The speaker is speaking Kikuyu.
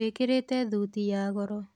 wĩkĩrite thuti ya goro.